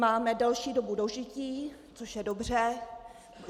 Máme delší dobu dožití, což je dobře.